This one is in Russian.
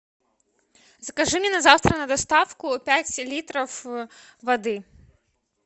закажи мне на завтра на доставку пять литров воды